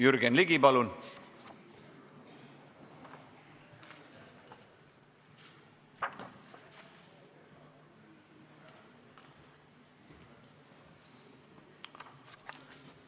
Jürgen Ligi, palun!